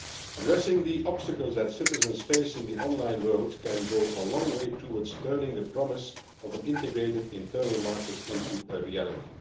Addressing the obstacles that citizens face in the online world can go a long way towards turning the promise of an integrated internal market into a reality.